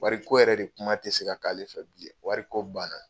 Wari ko yɛrɛ de kuma tɛ se ka'ale fɛ bilen, wari ko banna.